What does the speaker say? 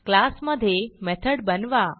class मधे method बनवा